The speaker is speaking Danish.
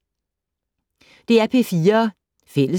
DR P4 Fælles